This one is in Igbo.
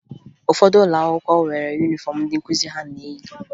Ụfọdụ ụlọ akwụkwọ nwere yunifọmụ ndị nkụzi ha na-eyi